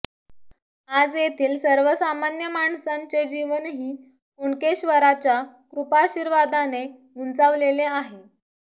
आज येथील सर्वसामान्य माणसांचे जीवनही कुणकेश्वराच्या कृपाशीर्वादाने उंचावलेले आहे